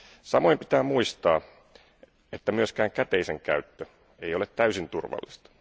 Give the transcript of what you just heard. Samoin pitää muistaa, että myöskään käteisen käyttö ei ole täysin turvallista.